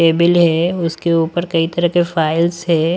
Table है उसके ऊपर कई तरह के फाइल्स है।